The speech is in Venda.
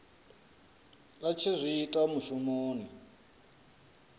a tshi zwi ita mushumoni